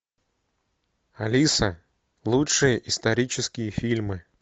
алиса лучшие исторические фильмы